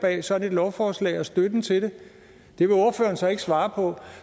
bag sådan et lovforslag og støtten til det det vil ordføreren så ikke svare på